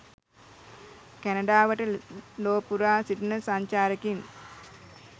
කැනඩාවට ලෝ පුරා සිටින සංචාරකයින්